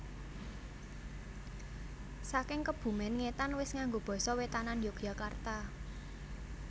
Saking Kebumen ngetan wis nganggo basa wetanan Yogyakarta